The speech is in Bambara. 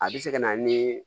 A bɛ se ka na ni